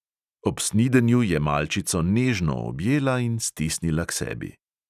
Ob snidenju je malčico nežno objela in stisnila k sebi.